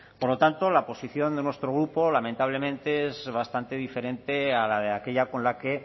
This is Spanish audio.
por lo tanto la posición de nuestro grupo lamentablemente es bastante diferente a la de aquella con la que